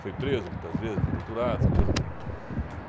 Foi preso muitas vezes, foi doutorado, essa coisa toda.